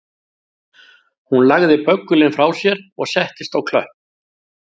Hún lagði böggulinn frá sér og settist á klöpp